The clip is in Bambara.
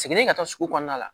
Seginni ka taa sugu kɔnɔna la